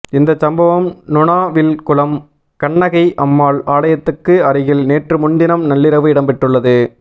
இந்தச் சம்பவம் நுணாவில்குளம் கண்ணகை அம்பாள் ஆலயத்துக்கு அருகில் நேற்றுமுன்தினம் நள்ளிரவு இடம்பெற்றுள்ளது